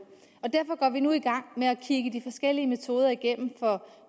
og derfor går vi nu i gang med at kigge de forskellige metoder igennem for